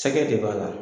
Sɛgɛ de b'a la